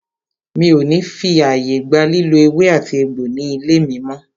Mi o ní fí ààyè gba lílò ewé àti egbò ní ilé mí mọ́!